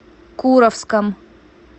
куровском